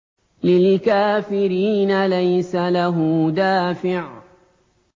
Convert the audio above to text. لِّلْكَافِرِينَ لَيْسَ لَهُ دَافِعٌ